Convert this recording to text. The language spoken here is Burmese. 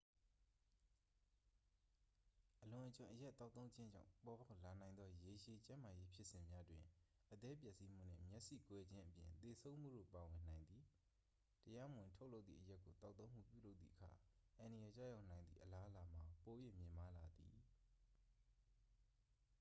အလွန်အကျွံအရက်သောက်သုံးခြင်းကြောင့် ပေါ်ပေါက်လာနိုင်သော ရေရှည်ကျန်းမာရေးဖြစ်စဉ်များတွင် အသည်းပျက်စီးမှုနှင့် မျက်စိကွယ်ခြင်းအပြင် သေဆုံးမှုတို့ ပါဝင်နိုင်သည် တရားမဝင်ထုတ်လုပ်သည့် အရက်ကို သောက်သုံးမှုပြုလုပ်သည့်အခါ အန္တရာယ်ကျရောက်နိုင်သည့် အလားအလာမှာ ပို၍ မြင့်မားလာသည်